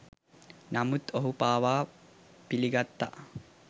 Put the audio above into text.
නමුත් ඔහු පවා පිළිගත්තා